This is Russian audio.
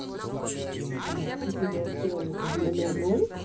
типа я сел в номерной